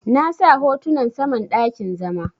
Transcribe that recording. Na sa hotunan saman dakin zama.